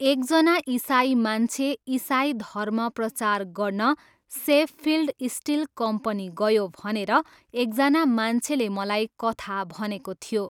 एकजना इसाई मान्छे इसाई धर्म प्रचार गर्न सेफफिल्ड स्टिल कम्पनी गयो भनेर एकजना मान्छेले मलाई कथा भनेको थियो।